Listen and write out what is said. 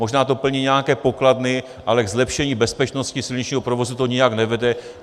Možná to plní nějaké pokladny, ale k zlepšení bezpečnosti silničního provozu to nijak nevede.